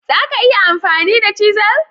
Za ka iya amfani da cisel?